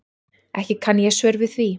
Ekki kann ég svör við því.